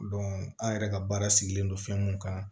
an yɛrɛ ka baara sigilen don fɛn mun kan